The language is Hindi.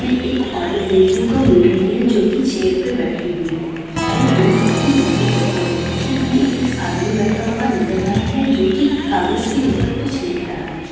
इसमें एक औरत देखने को मिल रही है जो की चेयर पे बैठी हुई है वो दूध की बिक्री कर रही है पीछे हमें एक आदमी बैठा हुआ नजर आ रहा है जो की कागज के ऊपर कुछ लिख रहा है।